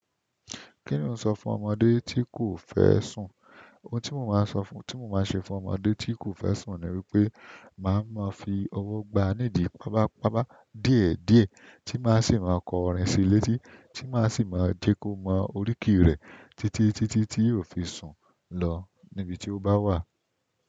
Kí ni o sọ fún ọmọdé tí kò fẹ́ sùn? Ohun tí mo máa sọ fún, tí mo máa ṣe fún ọmọdé tí kò fẹ́ sùn ni wípé màá máa fi ọwọ́ gba nídìí pápá, pápá díẹ̀ díẹ̀ tí màá sì máa kọ orin sílé tí, tí màá sì máa jẹ́ kó mọ oríkì rẹ títí, tí tí tí yóò fi sùn lọ nibi tí ó bá wà.